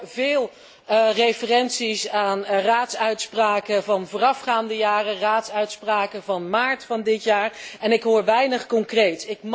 Ik hoor veel verwijzingen naar Raadsuitspraken van voorafgaande jaren, raadsuitspraken van maart van dit jaar, en ik hoor weinig concreets.